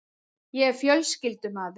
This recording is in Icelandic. Ég er fjölskyldumaður.